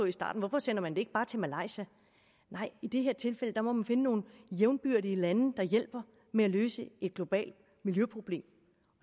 i starten hvorfor sender man det ikke bare til malaysia nej i det her tilfælde må man finde nogle jævnbyrdige lande der hjælper med at løse et globalt miljøproblem